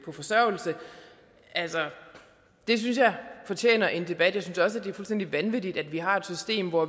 på forsørgelse det synes jeg fortjener en debat jeg synes også at det er fuldstændig vanvittigt at vi har et system hvor